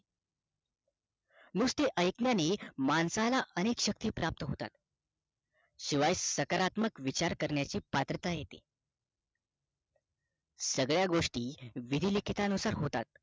नुसते ऐकण्याने माणसाला अनेक शक्ती प्राप्त होतात शिवाय साकारत्मक विचार करण्याची पात्रता येते सगळ्या गोष्टी विधिलिखितानुसार होतात